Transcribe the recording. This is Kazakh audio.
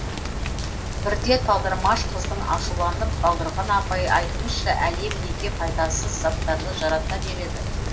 бірде талдырмаш қыздың ашуланып балдырған апай айтыңызшы әлем неге пайдасыз заттарды жаратта береді